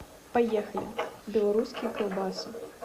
поехали белорусские колбасы